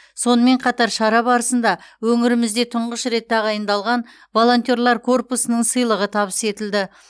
сонымен қатар шара барысында өңірімізде тұңғыш рет тағайындалған волонтерлар корпусының сыйлығы табыс етілді